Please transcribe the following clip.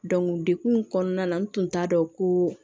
dekun kɔnɔna na n tun t'a dɔn ko